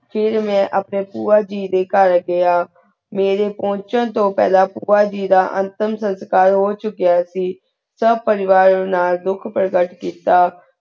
ਫੇਰ ਮੈਂ ਅਪਨ੍ਯਨ ਪੁਯਾ ਜੀ ਡੀ ਘੇਰ ਗੇਯ ਮੇਰੀ ਪੁਨ੍ਚੇਨ ਤੂੰ ਫਲਾਂ ਪੁਯਾ ਜੀ ਦਾ ਉਨ੍ਟਾਮ ਸੁਨਸ ਕਾਰ ਹ ਚੁਕੇਯਾ ਸੀ ਸਬ ਪਰਿਵਾਰ ਨਾਲ ਧੁਖ ਪੇਰ੍ਘਾਤ ਕੀਤਾ